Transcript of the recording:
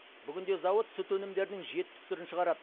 бүгінде зауыт сүт өнімдерінің жетпіс түрін шығарады